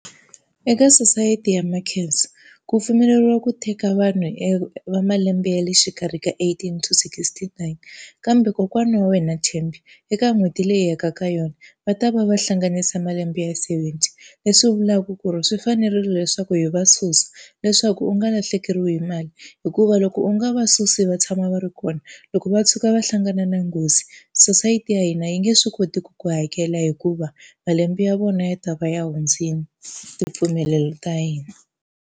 Eka sosayiti ya Makhensa, ku pfumeleriwa ku teka vanhu e va malembe ya le xikarhi ka eighteen to sixty-nine. Kambe kokwana wa wena Thembi, eka n'hweti leyi hi yaka ka yona, va ta va va hlanganisa malembe ya seventy, leswi vulaka ku ri swi fanerile leswaku hi va susa leswaku u nga lahlekeriwi hi mali. Hikuva loko u nga va susi va tshama va ri kona, loko va tshuka va hlangana na nghozi sosayiti ya hina yi nge swi koti ku hakela hikuva malembe ya vona yi ta va ya hundzile ti mpfumelelo ta hina.